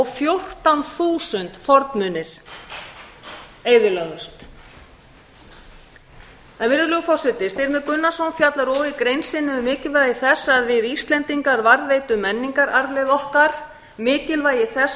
fjórtán þúsund fornmunir eyðilögðust styrmir gunnarsson fjallar og í grein sinni um mikilvægi þess að við íslendingar varðveitum menningararfleifð okkar mikilvægi þess